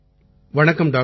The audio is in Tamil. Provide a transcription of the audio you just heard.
வணக்கம் டாக்டர்